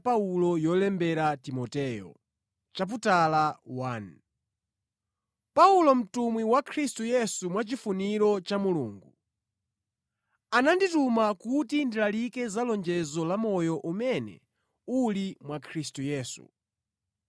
Paulo mtumwi wa Khristu Yesu mwa chifuniro cha Mulungu. Anandituma kuti ndilalike za lonjezo la moyo umene uli mwa Khristu Yesu.